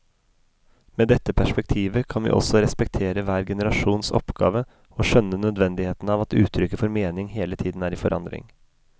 Med dette perspektivet kan vi også respektere hver generasjons oppgave og skjønne nødvendigheten av at uttrykket for mening hele tiden er i forandring.